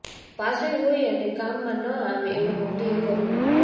પાસે હોય અને કામમાં ન આવે એવું મોદીએ કરી નાખ્યું